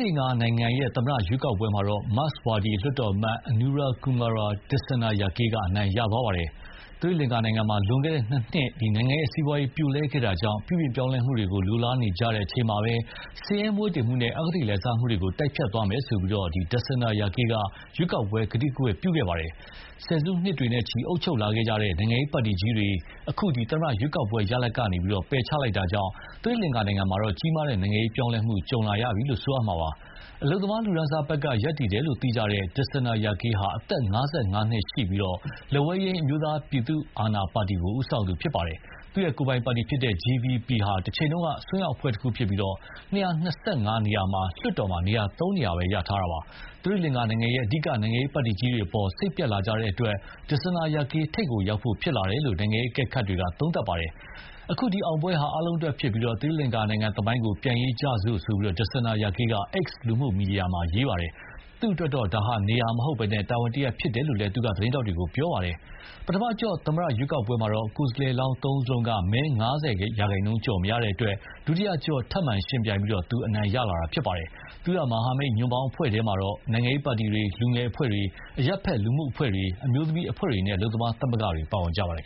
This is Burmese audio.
လင်္ကာနိုင်ငံ သမ္မတရွေးကောက်ပွဲမှာတော့ မာ့က်စ်ဝါဒီ လွှတ်တော်အမတ် Anura Kumar Dissanayake က အနိုင်ရသွားပါတယ်။ သီရိလင်္ကာနိုင်ငံမှာ လွန်ခဲ့တဲ့ နှစ်နှစ် နိုင်ငံ့စီးပွားရေးပြိုလဲခဲ့တာကြောင့် ပြုပြင်ပြောင်းလဲမှုတွေ လိုလားနေကြချိန်မှာပဲ ဆင်းရဲမွဲတေမှုနဲ့ အဂတိလိုက်စားမှုတွေကို တိုက်ဖျက်သွားမယ်ဆိုပြီး Dissanayake က ရွေးကောက်ပွဲကတိကဝတ်ပြုခဲ့ပါတယ်။ ဆယ်စုနှစ်တွေနဲ့ချီ အုပ်ချုပ်လာတဲ့ နိုင်ငံရေးပါတီကြီးတွေကို အခု သမ္မတရွေးကောက်ပွဲရလဒ်က ပယ်ချလိုက်တာကြောင့် သီရိလင်္ကာနိုင်ငံမှာ ကြီးမားတဲ့နိုင်ငံရေးပြောင်းလဲမှု ကြုံလာရပြီလို့ ပြောရမှာပါ။ အလုပ်သမားလူတန်းစားဘက်က ရပ်တည်တယ်လို့ သိကြတဲ့ Dissanayake ဟာ အသက် ၅၅ နှစ်ရှိပြီး လက်ဝဲယိမ်း အမျိုးသားပြည်သူအာဏာပါတီကိုဦးဆောင်သူဖြစ်ပါယ်။ သူ့ကိုယ်ပိုင်ပါတီ JVP ဟာ တချိန်က အစွန်းရောက်အဖွဲ့တခုဖြစ်ပြီး ၂၂၅ နေရာရှိတဲ့လွှတ်တော်မှာ သုံးနေရာပဲ ရထားတာပါ။ သီရိလင်္ကာနိုင်ငံရဲ့ အဓိကနိုင်ငံရေးပါတီကြီးတွေအပေါ် စိတ်ပျက်လာကြတာတဲ့အတွက် Dissanayake ထိပ်ကိုရောက်ဖို့ဖြစ်လာတယ်လို့ နိုင်ငံရေးအကဲခတ်တွေက သုံးသပ်ပါတယ်။အခုအောင်ပွဲဟာ အားလုံးအတွက်ဖြစ်ပြီး သီရိလင်္ကာနိုင်ငံသမိုင်းကို ပြန်ရေးကြစို့ ဆိုပြီး Dissanayake က X လူမှုမီဒီယာမှာရေးပါတယ်။ သူ့အတွက်တော့ နေရာမဟုတ်ဘဲ တာဝန်တရပ်ဖြစ်တယ်လို့လည်း သူက သတင်းထောက်တွေကို ပြောခဲ့ပါတယ်။ ပထမအကျော့ သမ္မတရွေးကောက်ပွဲမှာတော့ကိုယ်စားလှယ်လောင်းသုံးဦးစလုံးက မဲ ၅၀ ရာခိုင်နှုန်းကျော်မရတဲ့အတွက် ဒုတိယအကျော့ ထပ်မံယှဉ်ပြိုင်ပြီး သူအနိုင်ရလာတာပါ။ သူ့ မဟာမိတ်ညွန့်ပေါင်းအဖွဲ့ထဲမှာတော့ နိုင်ငံရေးပါတီတွေ၊ လူငယ်အဖွဲ့တွေ၊ အရပ်ဖက်လူမှုအဖွဲ့တွေ၊ အမျိုးသမီးအဖွဲ့တွေနဲ့ အလုပ်သမားသမဂ္ဂတွေ ပါဝင်ကြပါတယ်